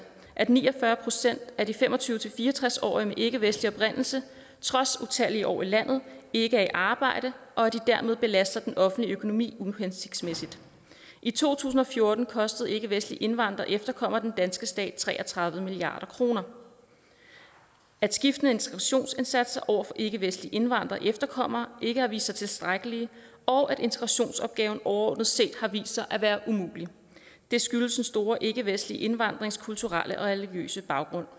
at ni og fyrre procent af de fem og tyve til fire og tres årige med ikkevestlig oprindelse trods utallige år i landet ikke er i arbejde og at de dermed belaster den offentlige økonomi uhensigtsmæssigt i to tusind og fjorten kostede ikkevestlige indvandrere og efterkommere den danske stat tre og tredive milliard kroner at skiftende integrationsindsatser over for ikkevestlige indvandrere og efterkommere ikke har vist sig tiltrækkelige og at integrationsopgaven overordnet set har vist sig at være umulig det skyldes den store ikkevestlige indvandrings kulturelle og religiøse baggrund